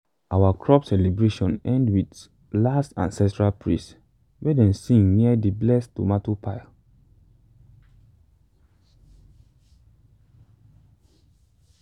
our crop celebration end with last ancestral praise wey dem sing near the blessed tomato pile.